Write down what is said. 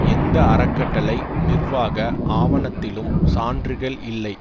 எந்த அறக்கட்டளை நிர்வாக ஆவணத்திலும் சான்றுகள் இல்லை